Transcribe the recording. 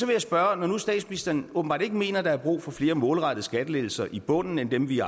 jeg spørge når nu statsministeren åbenbart ikke mener der er brug for flere målrettede skattelettelser i bunden end dem vi